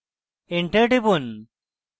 enter টিপুন